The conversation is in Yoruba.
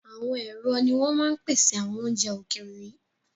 Àwọn ẹ̀rọ ni wọn máa ń pèsè àwọn oúnjẹ ókéré yìí